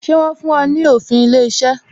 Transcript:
Ṣé wọn fún ọ ní òfin ilé iṣẹ́?